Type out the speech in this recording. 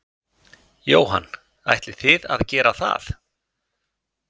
Jóhann: Ætlið þið að gera það?